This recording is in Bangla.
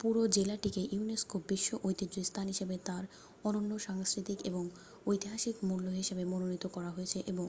পুরো জেলাটিকে ইউনেস্কো বিশ্ব ঐতিহ্য স্থান হিসাবে তার অনন্য সাংস্কৃতিক এবং ঐতিহাসিক মূল্য হিসাবে মনোনীত করা হয়েছে এবং